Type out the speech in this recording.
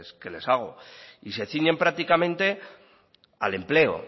que les hago y se ciñe prácticamente al empleo